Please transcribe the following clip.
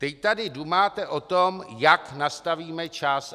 Teď tady dumáte o tom, jak nastavíme čas.